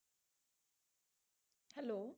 Hello